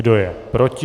Kdo je proti?